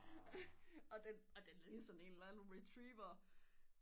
Og den lignede sådan en eller anden retriever